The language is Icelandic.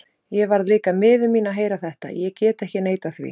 Ég varð líka miður mín að heyra þetta, ég get ekki neitað því.